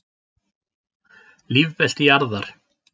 Lífbelti jarðar.